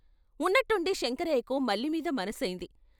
ఉన్నట్టుండి శంకరయ్యకు మల్లి మీది మనసైంది.